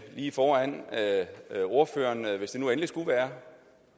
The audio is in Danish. lige foran ordføreren hvis det nu endelig skulle være